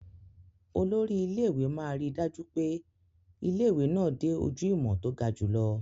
Olórí ilé-ìwé máa ríi dájú pé ilé-ìwé náà dé ojú ìmọ̀ tó ga jùlọ.